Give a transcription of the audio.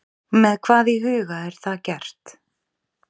Með hvað í huga er það gert?